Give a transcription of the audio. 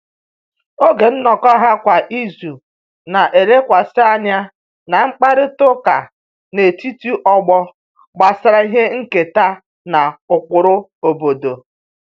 Oge nnọkọ ha kwa izu na-elekwasị anya na mkparịta ụka n'etiti ọgbọ gbasara ihe nketa na ụkpụrụ obodo